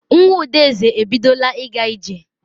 Nwa Udeze ebidola ịga ije.